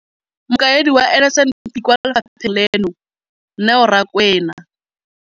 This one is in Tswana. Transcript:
Mokaedi wa NSNP kwa lefapheng leno, Neo Rakwena,